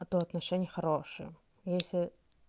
а то отношения хорошие если